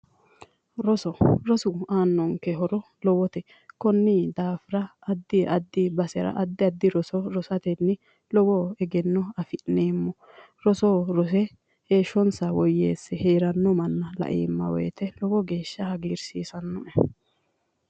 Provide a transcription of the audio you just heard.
Roso, rosu aannonke horo lowote. Konni daafira addi addi basera addi addi roso rosatenni lowo egenno afi'neemmo. Rose rose heeshshsonsa woyyeesse heeranno manba laeemma woyite lowo geeshsha hagiirsiisannoe.